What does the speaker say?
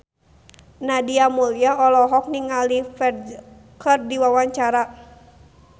Nadia Mulya olohok ningali Ferdge keur diwawancara